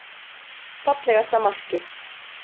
Fallegasta markið.